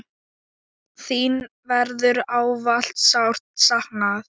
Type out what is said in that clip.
Þín verður ávallt sárt saknað.